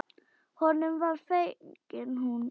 Honum var fengin hún.